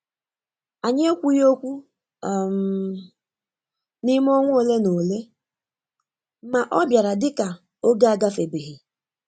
Anyị ekwughị okwu um n'ime ọnwa ole na ole, ma obiara dị ka oge agafebeghị.